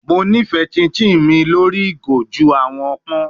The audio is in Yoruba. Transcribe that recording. Mo nifẹ chinchin mi lori igo ju awọn pọn